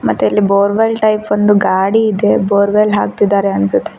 ಮತ್ತೆ ಎಲ್ಲಿ borewell type ಒಂದು ಗಾಡಿ ಇದೆ ಬೋರ್ವೆಲ್ ಹಾಕ್ತಿದ್ದಾರೆ ಅನ್ಸುತ್ತೆ.